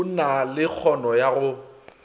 na le kgano ya go